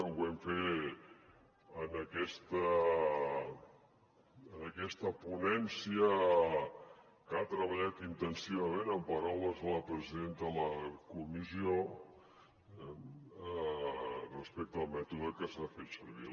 ho vam fer en aquesta ponència que ha treballat intensivament amb paraules de la presidenta de la comissió respecte al mètode que s’ha fet servir